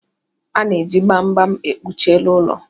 Ana-eji gbam gbam ekpuchi elu ụlọ.